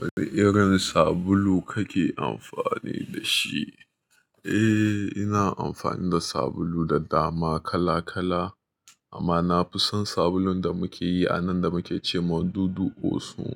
Wane irin sabulu kake amfani da shi? Eh, ina amfani da sabulu da dama kala kala amma na fi son sabulun da muke yi a nan da muke ce ma dudu osun.